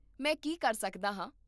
ਮੈਂ ਕੀ ਕਰ ਸਕਦਾ ਹਾਂ?